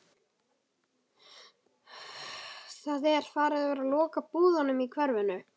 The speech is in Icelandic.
Það er verið að loka búðunum í hverfinu.